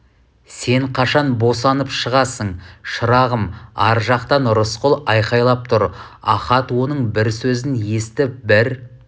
сен қашан босанып шығасың шырағым ар жақтан рысқұл айқайлап тұр ахат оның бір сөзін естіп бір